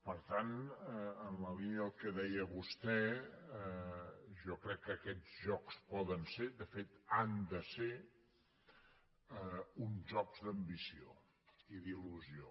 per tant en la línia del que deia vostè jo crec que aquests jocs poden ser de fet han de ser uns jocs d’ambició i d’il·lusió